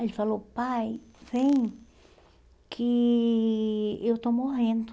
Aí ele falou, pai, vem, que eu estou morrendo.